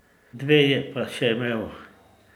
Dve je pa še imel.